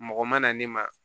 Mɔgɔ mana ne ma